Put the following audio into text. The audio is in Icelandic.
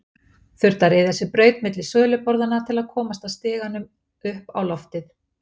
Þurfti að ryðja sér braut milli söluborðanna til að komast að stiganum upp á loftið.